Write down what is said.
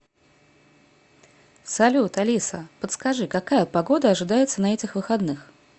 салют алиса подскажи какая погода ожидается на этих выходных